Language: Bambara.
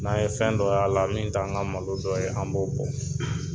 N'an ye fɛn dɔ y'a la, min t'an ka malo dɔ ye, an b'o bɔn.